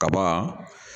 Kaban